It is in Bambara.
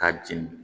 K'a jeni